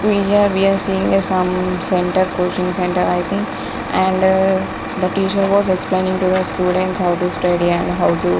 We here we are seeing a some center coaching center i think and the teacher was explaining to the students how to study and how to--